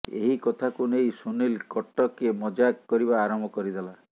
ଏହି କଥାକୁ ନେଇ ସୁନିଲ କଟକେ ମଜାକ କରିବା ଆରମ୍ଭ କରିଦେଲା